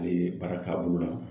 A ye baara k'a bolo la.